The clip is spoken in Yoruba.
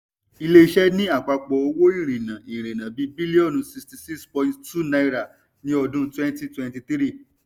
ilé iṣẹ́ ní àpapọ owó ìrìnà ìrìnà ti bílíọ̀nù 66.2 náírà ní ọdún 2023.